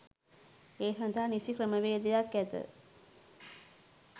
ඒ සඳහා නිසි ක්‍රමවේදයක් ඇත.